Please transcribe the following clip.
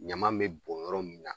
Ɲama bɛ bɔn yɔrɔ min na